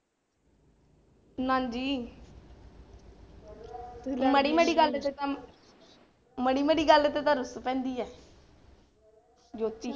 ਨਾ ਜੀ ਮਾੜੀ ਮਾੜੀ ਗੱਲ ਤੇ ਕੰਮ, ਮਾੜੀ ਮਾੜੀ ਗੱਲ ਤੇ ਤਾਂ ਰੁਸ ਪੈਂਦੀ ਹੈ ਜੋਤੀ।